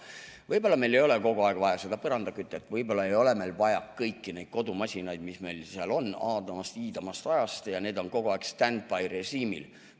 Võib-olla ei ole kogu aeg vaja seda põrandakütet, võib-olla ei ole vaja kõiki neid kodumasinaid, mis meil on aadamast-iidamast ja mis on kogu aeg standby-režiimil.